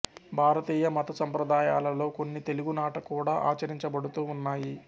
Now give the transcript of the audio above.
భారతీయ మత సంప్రదాయాలలో కొన్ని తెలుగునాట కూడా ఆచరించబడుతూ ఉన్నాయి